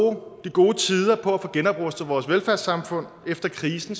gode tider på at få genoprustet vores velfærdssamfund efter krisen